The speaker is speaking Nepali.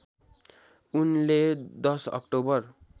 उनले १० अक्टोबर